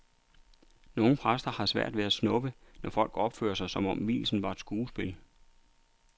Nogle præster har svært ved at snuppe, når folk opfører sig, som om vielsen var et skuespil.